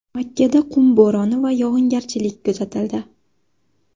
Makkada qum bo‘roni va yog‘ingarchilik kuzatildi .